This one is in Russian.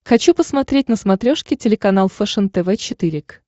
хочу посмотреть на смотрешке телеканал фэшен тв четыре к